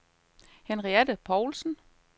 Henriette Paulsen